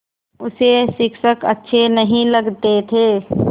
उसे शिक्षक अच्छे नहीं लगते थे